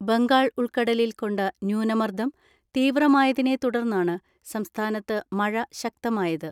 ബംഗാൾ ഉൾക്കടലിൽ കൊണ്ട ന്യൂനമർദ്ദം തീവ്രമായതിനെത്തുടർന്നാണ് സംസ്ഥാനത്ത് മഴ ശക്തമായത്.